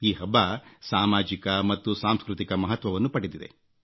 ಈ ಹಬ್ಬ ಸಾಮಾಜಿಕ ಮತ್ತು ಸಾಂಸ್ಕೃತಿಕ ಮಹತ್ವವನ್ನು ಪಡೆದಿದೆ